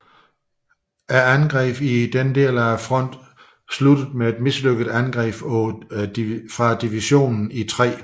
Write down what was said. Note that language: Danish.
Angrebene i denne del af fronten sluttede med et mislykket angreb fra divisionen i 3